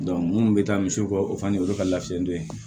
minnu bɛ taa misiw kɔ o fana olu ka lafiya don ye